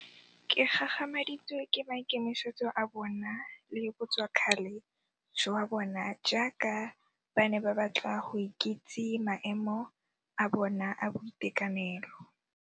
Ke gagamaditswe ke maikemisetso a bona le botswakgale jwa bona jaaka ba ne ba batla go ikitse maemo a bona a boitekanelo.